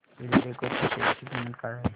एल्डेको च्या शेअर ची किंमत काय आहे